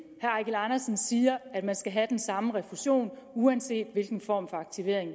eigil andersen siger at man skal have den samme refusion uanset hvilken form for aktivering